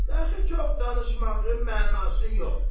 De axı çox danışmağın mənası yoxdur.